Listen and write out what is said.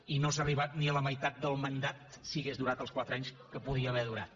i no s’ha arribat ni a la meitat del mandat si hagués durat els quatre anys que podia haver durat